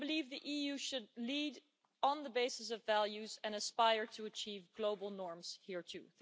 The EU should lead on the basis of values and aspire to achieve global norms here too.